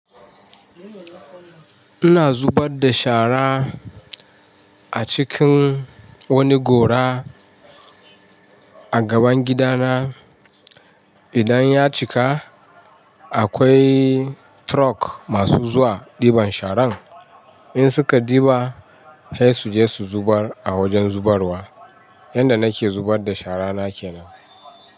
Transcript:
Ina zubar da shara a cikin wani gora a gaban gida na. Idan ya cika, akwai truck masu zuwa ɗiban sharan. In suka ɗiba, sai su je su zubar a wajen zubarwa. Yanda nake zubar da shara na kenan.